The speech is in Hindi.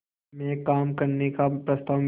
में काम करने का प्रस्ताव मिला